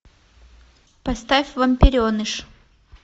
поставь вампиреныш